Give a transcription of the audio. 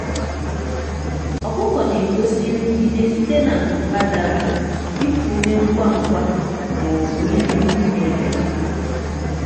ọkụkọ na-egosi nrụgide site na nku ha dara iku ume ngwa ngwa ma ọ bụ iri nri na-ebelata.